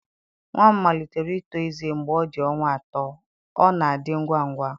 Nwa m malitere ito ezé mgbe ọ dị ọnwa atọ, ọ na-adị ngwa ngwa.